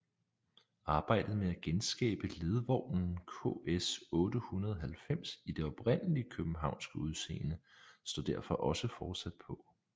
Arbejdet med at genskabe ledvognen KS 890 i det oprindelige københavnske udseende står også fortsat på